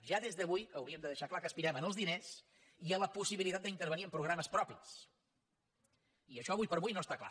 ja des d’avui hauríem de deixar clar que aspirem als diners i a la possibilitat d’intervenir hi amb programes propis i això avui per avui no està clar